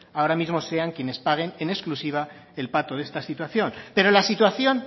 ahora mismo sean quienes paguen en exclusiva el pato de esta situación pero la situación